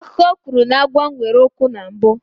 Akụkọ kwuru na agwọ nwere ikwu mbụ.